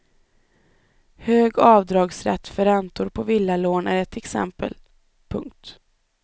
Hög avdragsrätt för räntor på villalån är ett exempel. punkt